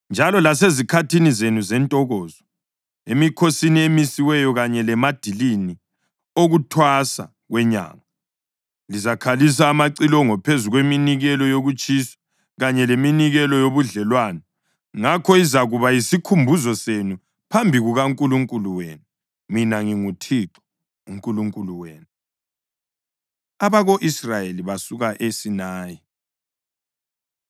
Njalo lasezikhathini zenu zentokozo, emikhosini emisiweyo kanye lemadilini okuThwasa kwenyanga, lizakhalisa amacilongo phezu kweminikelo yokutshiswa kanye leminikelo yobudlelwano, ngakho izakuba yisikhumbuzo senu phambi kukaNkulunkulu wenu. Mina nginguThixo uNkulunkulu wenu.” Abako-Israyeli Basuka ESinayi